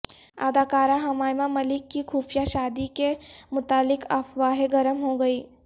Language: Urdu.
اداکارہ حمائمہ ملک کی خفیہ شادی کے متعلق افواہیں گرم ہو گئیں